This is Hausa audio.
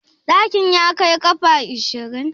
Ɗakin ya kai ƙafa ashirin?